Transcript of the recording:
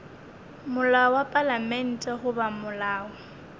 molao wa palamente goba molao